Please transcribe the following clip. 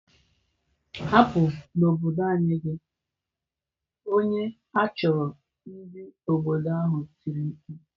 Hapu n'obodo anyi gi onye achuru! Ndị obodo ahụ tiri mkpu.